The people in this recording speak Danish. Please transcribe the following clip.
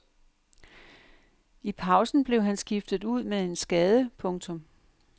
I pausen blev han skiftet ud med en skade. punktum